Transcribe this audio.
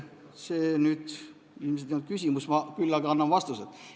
See nüüd ilmselt ei olnud küsimus, küll aga ma annan vastused.